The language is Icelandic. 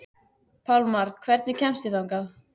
Pálmar, hvernig kemst ég þangað?